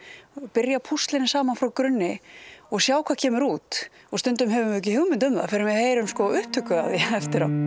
byrja að púsla henni saman frá grunni og sjá hvað kemur út stundum höfum við ekki hugmynd um það fyrr en við heyrum upptöku af því eftir á